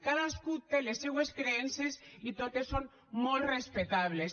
cadascú té les seues creences i totes són molt respectables